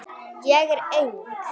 Ég er eng